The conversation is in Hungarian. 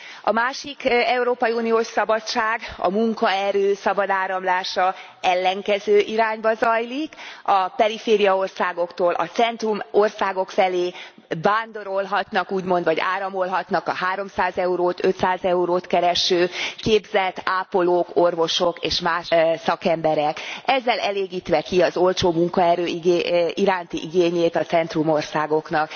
A másik európai uniós szabadság, a munkaerő szabad áramlása ellenkező irányba zajlik, a perifériaországoktól a centrumországok felé vándorolhatnak, úgymond, vagy áramolhatnak a 300 eurót, 500 eurót kereső képzett ápolók, orvosok és más szakemberek, ezzel elégítve ki az olcsó munkaerő iránti igényét a centrumországoknak.